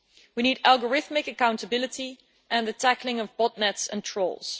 We need algorithmic accountability and the tackling of botnets and trolls.